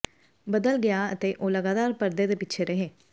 ਬਦਲ ਗਿਆ ਅਤੇ ਉਹ ਲਗਾਤਾਰ ਪਰਦੇ ਦੇ ਪਿੱਛੇ ਰਹੇ